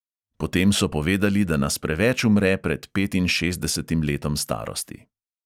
Potem so povedali, da nas preveč umre pred petinšestdesetim letom starosti.